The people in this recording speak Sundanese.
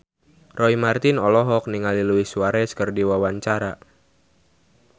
Roy Marten olohok ningali Luis Suarez keur diwawancara